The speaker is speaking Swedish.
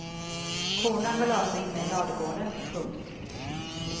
Korna går lösa inne i ladugården. punkt